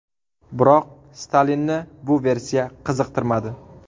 Biroq Stalinni bu versiya qiziqtirmadi.